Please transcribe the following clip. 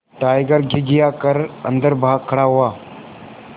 tiger घिघिया कर अन्दर भाग खड़ा हुआ